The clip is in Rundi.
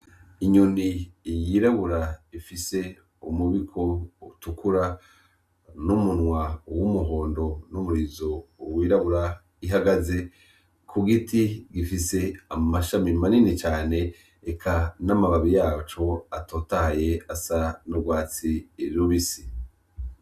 Inyoni yirabura ifise umubiko utukura n'umunwa uw' umuhondo n'umurizo uwirabura ihagaze ku giti gifise amashami manini cane eka n'amababi yacu atotaye asa n'urwatsi irirubisi.